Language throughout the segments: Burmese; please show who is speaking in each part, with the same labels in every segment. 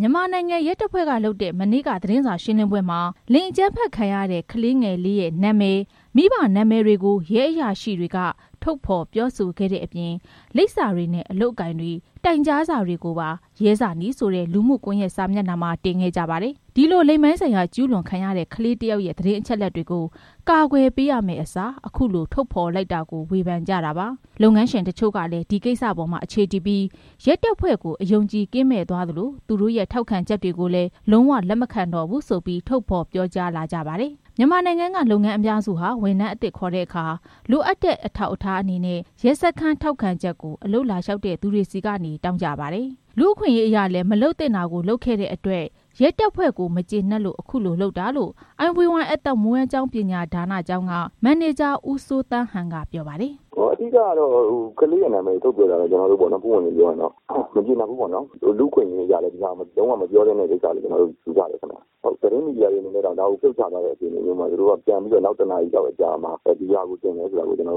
Speaker 1: မြန်မာနိုင်ငံ ရဲတပ်ဖွဲ့ကလုပ်တဲ့ သတင်းစာရှင်းလင်းပွဲမှာ လိင်အကြမ်းဖက်ခံရတဲ့ ကလေး ငယ်လေးရဲ့ နာမည်၊ မိဘနာမည်တွေကို ရဲအရာရှိတွေက ထုတ်ဖော်ပြောဆိုခဲ့တဲ့အပြင် လိပ်စာတွေနဲ့ အလုပ်အကိုင်တွေ၊ တိုင်ကြားစာတွေကိုပါ ရဲဇာနည်ဆိုတဲ့ လူမှုကွန်ရက်စာမျက်နှာမှာ တင်ခဲ့ကြပါ တယ်။ ဒီလိုလိင်ပိုင်းဆိုင်ရာ ကျုးလွန်ခံရတဲ့ ကလေးတစ်ယောက်ရဲ့ သတင်းအချက်လက်တွေကို ကာကွယ် ပေးရမယ့်အစား အခုလို ထုတ်ဖော်လိုက်တာကို ဝေဖန်ကြတာပါ။ လုပ်ငန်းရှင် တချို့ကလည်း ဒီကိစ္စပေါ်မှာ အခြေတည်ပြီး ရဲတပ်ဖွဲ့ကို အယုံအကြည် ကင်းမဲ့သွားသလို သူတို့ရဲ့ ထောက်ခံချက်တွေကိုလည်း လုံးဝလက်မခံတော့ဘူးဆိုပြီး ထုတ်ဖော်ပြောကြားလာ ကြပါတယ်။ မြန်မာနိုင်ငံက လုပ်ငန်းအများစုဟာ ဝန်ထမ်းအသစ်ခေါ်တဲ့အခါ လိုအပ်တဲ့ အထောက်ထားအနေနဲ့ ရဲစခန်း ထောက်ခံချက်ကို အလုပ်လာလျှောက်တဲ့အခါမှာ တောင်းကြပါတယ်။ လူအခွင့်အရေးရလည်း မလုပ်သင့်တာကို လုပ်ခဲ့တဲ့အတွက် ရဲတပ်ဖွဲ့ကို မကျေနပ်လို့ အခုလို လုပ်တာ လို့ IVY အသက်မွေးဝမ်းကြောင်း ပညာဒါနကျောင်းက မန်နေဂျာ ဦးစိုးသန်းဟန်က ပြောပါတယ်။
Speaker 2: “အဓိကကတော့ ကလေးရဲ့နာမည်ကို ထုတ်ပြောတာကို မကျေနပ်ဘူးပေါ့နော်။ လူ့အခွင့်အရေးအရလည်း လုံးဝမပြောသင့်တဲ့ကိစ္စလို့ ယူဆတယ်ခင်ဗျာ။ သတင်းမီဒီယာတွေအနေနဲ့တောင် ဒါတွေကို ဖြုတ်ချထားတဲ့ ကိစ္စမှာ နောက်တစ်နာရီလောက် အကြာ မှာ ဒါကိုတင်တယ်ဆိုတော့ သိပ်အ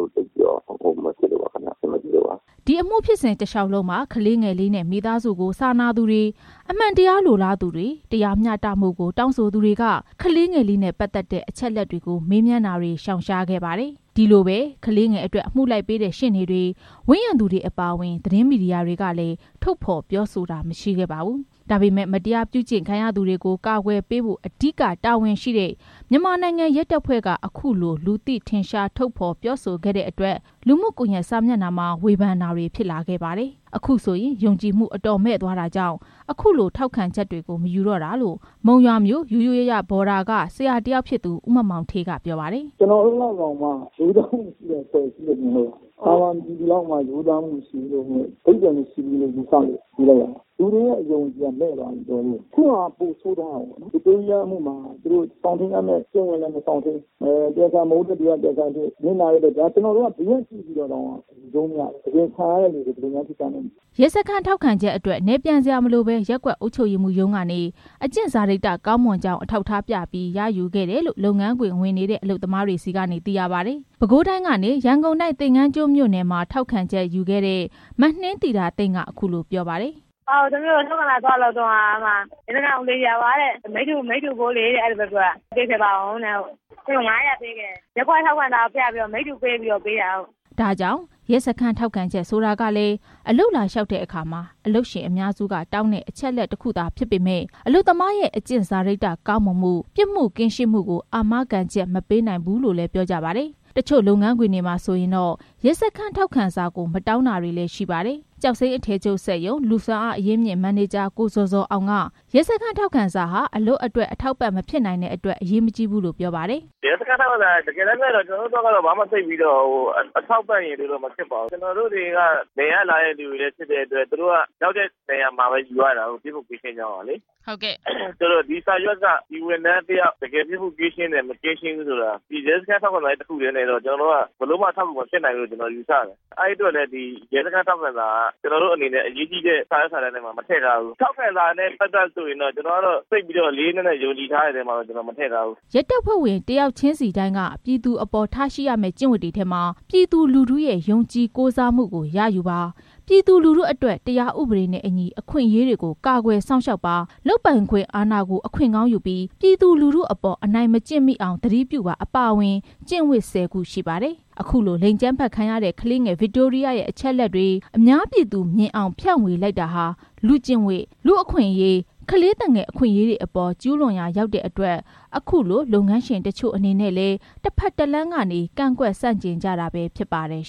Speaker 2: ဆင်မပြေလိ
Speaker 1: ု့ပါ။” ဒီအမှု ဖြစ်စဉ်တလျှောက်လုံးမှာ ကလေးငယ်လေးနဲ့ မိသားစုကို စာနာသူတွေ၊ အမှန်တရားလိုလား သူတွေ၊ တရားမျှတမှုကို တောင်းဆိုသူတွေက ကလေးငယ်လေးနဲ့ ပတ်သက်တဲ့ အချက်လက်တွေ ကို မေးမြန်းတာတွေကို ရှောင်ရှားခဲ့ကြပါတယ်။ အဲဒီလိုပဲ ကလေးငယ်အတွက် အမှုလိုက်ပေးတဲ့ ရှေ့နေတွေ၊ ဝန်းရံသူတွေအပါအဝင် သတင်းမီဒီ ယာတွေကလည်း ထုတ်ဖော်ပြောဆိုတာ မရှိခဲ့ပါဘူး။ ဒါပေမဲ့ မတရားပြုကျင့်ခံရသူကို ကာကွယ်ပေးဖို့ အဓိကတာဝန်ရှိတဲ့ မြန်မာနိုင်ငံ ရဲတပ်ဖွဲ့ကနေ အခုလို လူသိထင်ရှား ထုတ်ပြောခဲ့တဲ့အတွက် လူမှုကွန်ရက်စာမျက်နှာမှာ ဝေဖန်တာတွေ ဖြစ်လာခဲ့ပါတယ်။ အခုဆိုရင် ယုံကြည်မှု အတော်မဲ့သွားတာကြောင့် အခုလို ထောက်ခံချက်တွေကို မယူတော့တာလို့ မုံရွာမြို့ ယုယုယယဘော်ဒါက ဆရာတစ်ယောက်ဖြစ်သူ ဦးမောင်မောင်ဌေးက ပြောပါတယ်။
Speaker 2: “ ကျနော်တို့လောက်တောင်မှ ရိုးသားမှုမရှိတဲ့ အဖွဲ့အစည်းလို့ မြင်လို့ပါ။ သာမန်ပြည်သူလောက်တောင် ရိုးသားမှုမရှိဘူး ၊ အဓိပ္ပာယ်မရှိဘူးလို့ ယူဆလို့ပါ။ လူတွေရဲ့ ယုံကြည်မှုက မဲ့သွားပြီ တော်တော်လေးကို။ အခုဟာက ပိုဆိုးသွားတာပေါ့နော်။ ဗစ်တိုးရီးယားအမှုမှာ စောင့်ထိန်းရမယ့် ကျင့်ဝတ်လည်း မစောင့်ထိန်းဘူး။ တရားခံ မဟုတ်တဲ့သူက တရားခံဖြစ်။ ဘေးကကြည့်တဲ့သူတောင် ယူကြုံးမရဘူး။ တကယ်ခံရတဲ့သူတွေ ဘယ်လိုနေမလဲမသိဘူ
Speaker 1: း။ ” ရဲစခန်းထောက်ခံချက်အတွက် နယ်ပြန်စရာမလိုဘဲ ရပ်ကွက်အုပ်ချုပ်ရေးမှူးရုံးကနေ အကျင့်စာရိတ္တ ကောင်းမွန်ကြောင်း အထောက်ထားပြပြီး ရခဲ့ကြတယ်လို့ လုပ်ငန်းခွင်ဝင်တဲ့ အလုပ်သမားတွေ ဆီကနေ သိရပါတယ်။ ပဲခူးတိုင်းကနေ ရန်ကုန်တိုင်း သင်္ကန်းကျွန်းမြို့နယ် မှာ ထောက်ခံချက်ယူခဲ့တဲ့ မနှင်းသီတာသိမ့်က အခုလိုပြောပါတယ်။
Speaker 2: “ထောက်ခံစာ သွားလုပ်တုန်းက ရဲစခန်းကဦးလေးကြီးက မိတ္တူဖိုးလေး ပေးခဲ့ပါဦးတဲ့။ ငါးရာပေးခဲ့တယ်။ ရပ်ကွက်ထောက်ခံစာပြပြီး လုပ်ခဲ့တာ။
Speaker 1: ” ဒါ့ကြောင့် ရဲစခန်း ထောက်ခံချက် ဆိုတာကလည်း အလုပ်လျှောက်တဲ့အခါ အလုပ်ရှင်အများစုက တောင်းတဲ့ အချက်လက်တစ်ခုသာဖြစ်ပေမယ့် အလုပ်သမားရဲ့ အကျင့်စာရိတ္တကောင်းမွန်မှု၊ ပြစ်မှုကင်းရှင်းမှုကို အာမခံချက် မပေးနိုင်ဘူးလို့လည်း ပြောကြပါတယ်။ တချို့ လုပ်ငန်းခွင်တွေမှာတော့ ရဲစခန်းထောက်ခံစာကို မတောင်းတာတွေလည်း ရှိပါတယ်။ ကျောက်စိမ်းအထည်ချုပ်စက်ရုံ လူ့စွမ်းအားအရင်းအမြစ် မန်နေဂျာ ကိုဇော်ဇော်အောင်က ရဲစခန်းထောက်ခံစာဟာ အလုပ်အတွက် အထောက်ပံ့မဖြစ်နိုင်တဲ့အတွက် အရေးမကြီးဘူးလို့ ပြောပါတယ်။
Speaker 2: “တကယ်တမ်းပြောရရင် ရဲစခန်းထောက်ခံစာက ကျနော်တို့အတွက် အထောက်ပံ့ မဖြစ်ပါဘူး။ နယ်ကလာတဲ့ သူတွေဖြစ်တော့ ရောက်တဲ့နေရာမှာပဲ ထောက်ခံစာယူရတာကိုး ။ ပြစ်မှုကင်းရှင်းကြောင်းလေ
Speaker 1: ။
Speaker 2: ဒီစာရွက်က ဒီဝန်ထမ်းတစ်ယောက် တကယ်ပြစ်မှုကင်းရှင်းတယ်၊ မကင်းရှင်းဘူးဆိုတာ ရဲစခန်းထောက်ခံစာ တစ်ခုတည်းနဲ့ ဘယ်လိုမှမဖြစ်နိုင်ဘူးလို့ ယူဆတယ်။ အဲဒါကြောင့် ရဲစခန်းထောက်ခံစာကို အရေးကြီးတဲ့ စာရွက်စာတမ်းမှာ ထည့်မထားဘူး။ ထောက်ခံစာနဲ့ ပတ်သက်ပြီး လေးလေးနက်နက် ယုံကြည်တဲ့အထဲမှာ ထည့်မထားဘူး။
Speaker 1: ” ရဲတပ်ဖွဲ့ဝင် တစ်ယောက်ချင်းစီတိုင်းက ပြည်သူအပေါ် ထားရှိရမယ့် ကျင့်ဝတ်တွေထဲမှာ ပြည်သူလူထု ရဲ့ ယုံကြည်ကိုးစားမှုကို ရယူပါ၊ ပြည်သူလူထုအတွက် တရားဥပဒေနဲ့အညီ အခွင့်အရေးတွေကို ကာကွယ် စောင့်ရှောက်ပါ၊ လုပ်ပိုင်ခွင့်အာဏာကို အခွင့်ကောင်းယူပြီး ပြည်သူလူထုအပေါ် အနိုင်မကျင့်မိအောင် သတိပြုပါ အပါအဝင် ကျင့်ဝတ် ၁၀ ခုရှိပါတယ်။ အခုလို လိင်အကြမ်းဖက်ခံရတဲ့ ကလေးငယ် ဗစ်တိုးရီးယားရဲ့ အချက်လက်တွေ အများပြည်သူ မြင်အောင် ဖြန့်ဝေလိုက်တာဟာ လူ့ကျင့်ဝတ်၊ လူ့အခွင့်အရေး၊ ကလေးသူငယ် အခွင့်အရေးတွေအပေါ် ကျုးလွန်ရာ ရောက်တဲ့အတွက် အခုလို လုပ်ငန်းရှင် တချို့အနေနဲ့လည်း တဖက်တလမ်းကနေ ကန့်ကွက်ဆန့်ကျင်ကြတာပဲ ဖြစ်ပါတယ်